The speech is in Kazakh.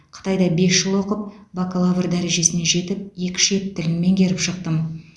қытайда бес жыл оқып бакалавр дәрежесіне жетіп екі шет тілін меңгеріп шықтым